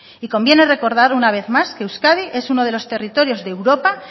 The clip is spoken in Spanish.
y conviene recordar una vez más que euskadi es uno de los territorios de europa